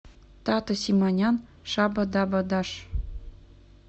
тата симонян шаба даба даш